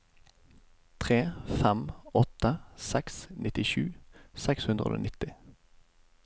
tre fem åtte seks nittisju seks hundre og nitti